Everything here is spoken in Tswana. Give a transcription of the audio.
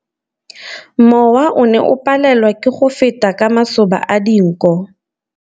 Mowa o ne o palelwa ke go feta ka masoba a dinko.